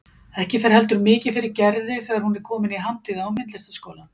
Ekki fer heldur mikið fyrir Gerði þegar hún er komin í Handíða- og myndlistaskólann.